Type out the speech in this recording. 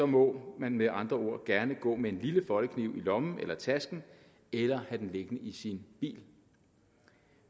må man med andre ord gerne gå med en lille foldekniv i lommen eller tasken eller have den liggende i sin bil